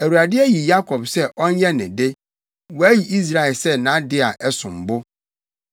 Awurade ayi Yakob sɛ ɔnyɛ ne de, wayi Israel sɛ nʼade a ɛsom bo.